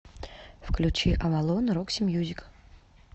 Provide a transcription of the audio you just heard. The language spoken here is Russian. включи авалон рокси мьюзик